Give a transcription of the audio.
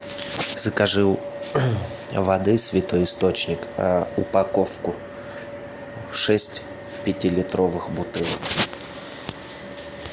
закажи воды святой источник упаковку шесть пятилитровых бутылок